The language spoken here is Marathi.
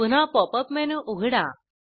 पुन्हा पॉप अप मेनू उघडा